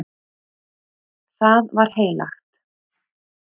Það var heilagt.